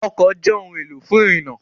Ọkọ̀ jẹ́ ohun-èlò fún ìrìnnà.